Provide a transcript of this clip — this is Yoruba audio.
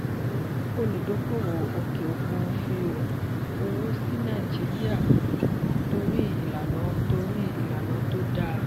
olúdókòwò òkè òkun fi owó sí nàìjíríà torí ìlànà torí ìlànà tó dáa.